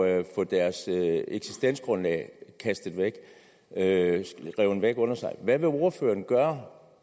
at få deres eksistensgrundlag revet væk under sig hvad vil ordføreren gøre